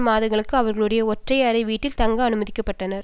மாதங்களுக்கு அவர்களுடைய ஒற்றை அறை வீட்டில் தங்க அனுமதிக்க பட்டனர்